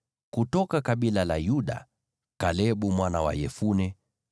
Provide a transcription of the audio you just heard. kutoka kabila la Yuda, Kalebu mwana wa Yefune;